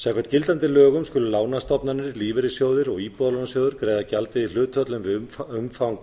samkvæmt gildandi lögum skulu lánastofnanir lífeyrissjóðir og íbúðalánasjóður greiða gjaldið í hlutföllum við umfang